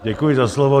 Děkuji za slovo.